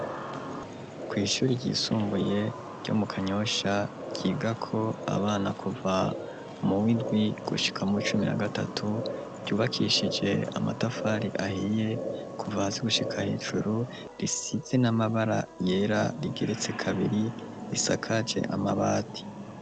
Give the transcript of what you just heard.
Kw'ishuri ryisumbuye, ryo mu Kanyosha, ryigako abana, kuva mu w'indwi, gushika mu w'icumi na gatatu; ryubakishije amatafari, ahiye, kuva hasi, gushika hejuru; risize n'amabara yera, rigeretse kabiri, risakaje amabati.